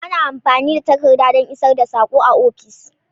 Ana amfani da takarda don isar da sako a ofis.